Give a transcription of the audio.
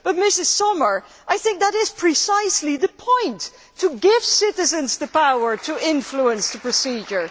Ms Sommer, I think that is precisely the point to give citizens the power to influence the procedure.